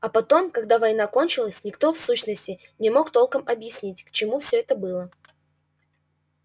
а потом когда война кончалась никто в сущности не мог толком объяснить к чему все это было